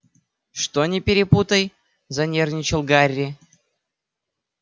что не перепутай занервничал гарри